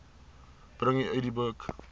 bring u idboek